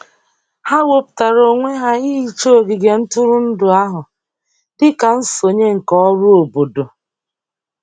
Ha wepụtara onwe ha ihicha ogige ntụrụndụ ahụ dị ka nsonye nke ọrụ obodo.